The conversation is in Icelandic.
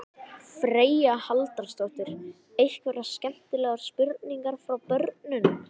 Freyja Haraldsdóttir: Einhverjar skemmtilegar spurningar frá börnum?